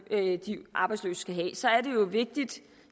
arbejdsløse skal have vil